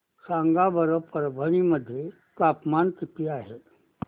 सांगा बरं परभणी मध्ये तापमान किती आहे